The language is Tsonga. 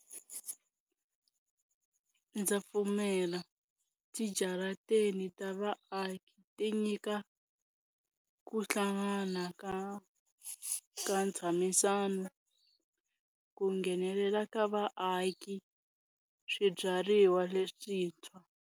Ndza pfumela, ti jaratini ta vaaki ti nyika ku hlangana ka ka ntshamisano, ku nghenelela ka vaaki, swibyariwa leswintshwa.